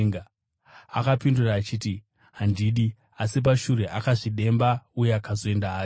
“Akapindura achiti, ‘Handidi,’ asi pashure akazvidemba uye akazoenda hake.